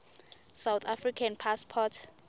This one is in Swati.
south african passports